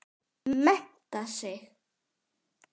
Mennta sig.